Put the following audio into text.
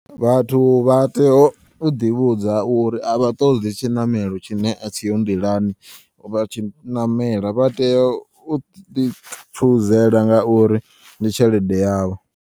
Vhathu vha tea uḓi vhudza uri avha ṱoḓi tshiṋamelo tshine a tshiho nḓilani vha tshi ṋamela vha teya uḓi tshuzela ngauri ndi tshelede yavho.